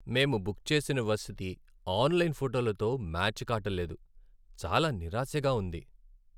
మేము బుక్ చేసిన వసతి ఆన్లైన్ ఫోటోలతో మ్యాచ్ కాటల్లేదు, చాలా నిరాశగా ఉంది.